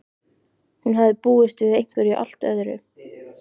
Hún hafði búist við einhverju allt öðru.